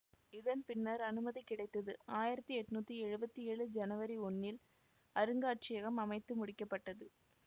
இதன் பின்னர் அனுமதி கிடைத்து ஆயிரத்தி எட்ணூத்தி எழுவத்தி ஏழு ஜனவரி ஒன்னில் அருங்காட்சியகம் அமைத்து முடிக்க பட்டது